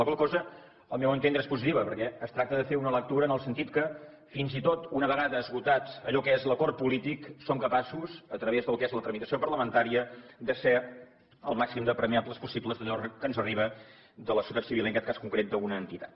la qual cosa al meu entendre és positiva perquè es tracta de fer una lectura en el sentit que fins i tot una vegada esgotat allò que és l’acord polític som capaços a través del que és la tramitació parlamentària de fer al màxim d’ apremiable possible allò que ens arriba de la societat civil i en aquest cas concret d’una entitat